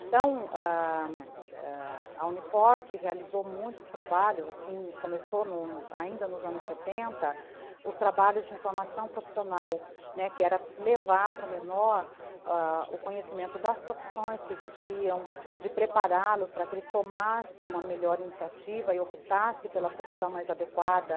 Então, ãh ãh a Uni Forte realizou muitos trabalhos, começou ainda nos anos setenta, os trabalhos de informação profissional, que era levar para o menor o conhecimento das profissões que existiam, de prepará-los para que ele tomasse uma melhor iniciativa e optasse pela profissão mais adequada.